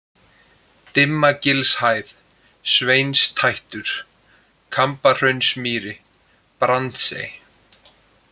Dimmagilshæð, Sveinstættur, Kambahraunsmýri, Brandsey